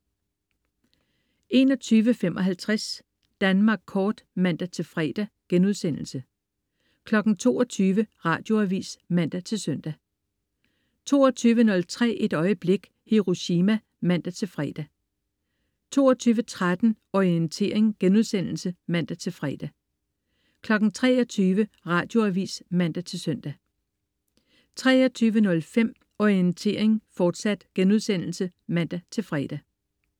21.55 Danmark kort* (man-fre) 22.00 Radioavis (man-søn) 22.03 Et øjeblik. Hiroshima (man-fre) 22.13 Orientering* (man-fre) 23.00 Radioavis (man-søn) 23.05 Orientering, fortsat* (man-fre)